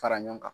Fara ɲɔgɔn kan